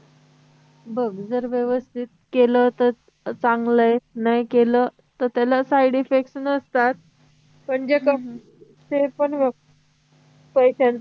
बघ जर व्यवस्थित केल तर चांगलं आहे नाही केल तर त्यानं side effects नसतात ते पण जे बघ काही त्यांचं